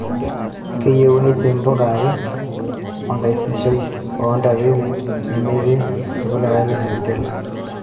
Keyauni sii mpuka are aa enkaisiishoi oo ntapipi nemetii olkilikuai le HORTINLEA.